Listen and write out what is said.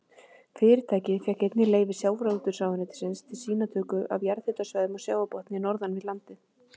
Fyrirtækið fékk einnig leyfi sjávarútvegsráðuneytisins til sýnatöku af jarðhitasvæðum á sjávarbotni norðan við landið.